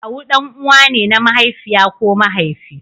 Kawu ɗan'uwa ne na mahaifiya ko mahaifi.